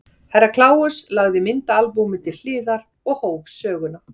Herra Kláus lagði myndaalbúmið til hliðar og hóf söguna.